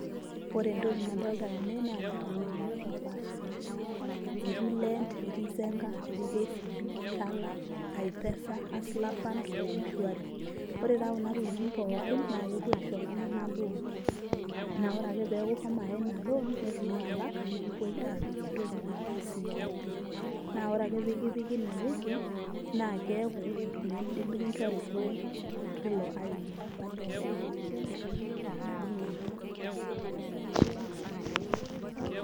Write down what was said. Ore entoki nadolita tene naa ilkitamanyu not oo paashi paasha etii lend, etii zenka, Kcb,Tala, i-pesa, hustle fund oo mshwari. Ore taa kuna tokitin pookin naa kepuo aisho iltunganak loon, naa ore ake peeku ishomo Aya ina loon neitu ilo alak nikipoi aapik entoki naji CRB. Naa ore ake peyie kipiki ine woji miidi nikinjori loon teilo aini apa liwayie ina loon.